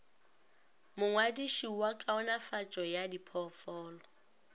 mongwadiši wa kaonafatšo ya diphoofolo